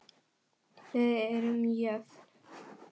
Við erum jöfn.